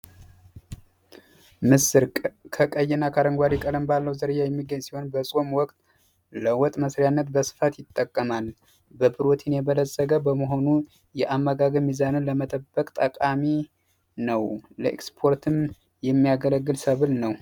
ምስር ከቀይ እና ከአረንጓዴ ቀለም ባለዉ ዝርያ የሚገኝ ሲሆን በጾም ወቅት ለወጥ መስሪያነት በስፋት ይጠቀማል ቀፕሮቲን የበለጸገ በመሆኑ የአመዛዘን ሚዛንን ለመጠበቅ ጠቃሚ ነዉ። ለኤቅስፖርትም የሚያገለግል ሰብል ነዉ።